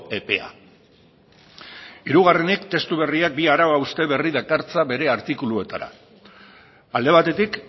epea hirugarrenik testu berriak bi arau hauste dakartza bere artikuluetara alde batetik